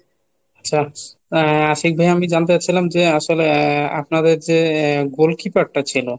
আচ্ছা আহ আশিক ভাই আমি জানতে চাচ্ছিলাম যে আসলে আপনাদের যে আহ গোল keeper টা ছিল;